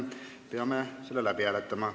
Me peame selle läbi hääletama.